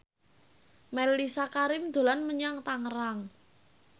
Mellisa Karim dolan menyang Tangerang